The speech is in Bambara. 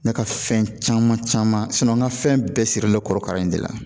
Ne ka fɛn caman caman an ka fɛn bɛɛ sirilen bɛ kɔrɔkara in de la